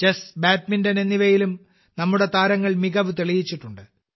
chess badminton എന്നിവയിലും നമ്മുടെ താരങ്ങൾ മികവ് തെളിയിച്ചിട്ടുണ്ട്